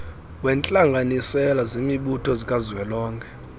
wentlanganisela zemibutho zikazwelonke